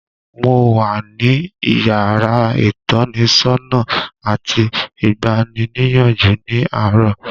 Mo wà ní yàrá ìtọ́nisọ́nà àti ìgbaniníyànjú ní àárọ̀.